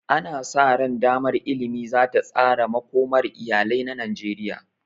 Ana sa ran damar ilimi za ta tsara makomar iyalai na Najeriya.